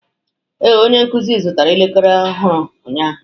Ee, onye nkuzi zụtara elekere ọhụrụ ụnyaahụ.